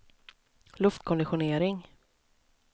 luftkonditionering